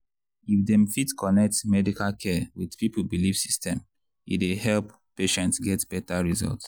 if dem fit connect medical care with people belief system e dey help patients get better result.